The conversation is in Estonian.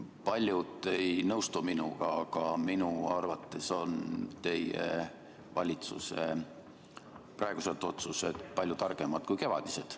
Paljud ei nõustu minuga, aga minu arvates on teie valitsuse praegused otsused palju targemad kui kevadised.